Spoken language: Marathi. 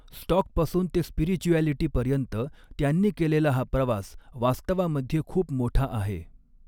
स्टॉकपासून ते स्पिरिच्युॲलिटीपर्यंत, त्यांनी केलेला हा प्रवास वास्तवामध्ये खूप मोठा आहे.